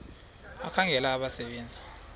ekhangela abasebe nzi